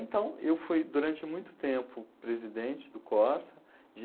Então, eu fui, durante muito tempo, presidente do Corsa. De